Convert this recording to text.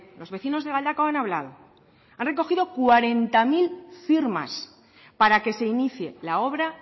los vecinos de galdakao han hablado han recogido cuarenta mil firmas para que se inicie la obra